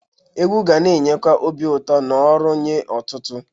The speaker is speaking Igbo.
Egwu ga na-enyekwa obi ụtọ na ọrụ nye ọtụtụ.